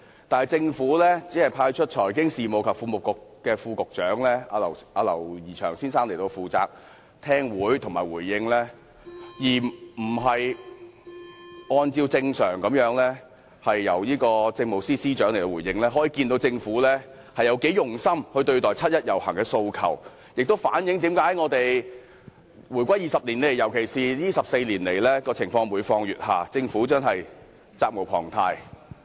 但是，政府只派出財經事務及庫務局副局長劉怡翔先生出席會議和作出回應，而不是按照正常做法派出政務司司長作出回應，可見政府有多"用心"對待七一遊行市民的訴求，亦反映了香港回歸20年來，尤其是過去14年來，情況每況愈下，政府真的責無旁貸。